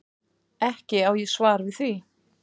Ekki á ég svar við því.